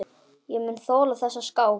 Ég mun þola þessa skál.